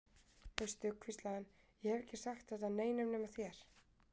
Veistu, hvíslaði hann, ég hef ekki sagt þetta neinum nema þér.